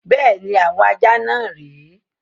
Bẹ́ẹ̀ni, àwọn ajá náà rè é.